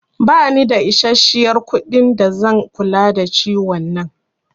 Ba ni da isashiyar kuɗi da zan kula da ciwon nan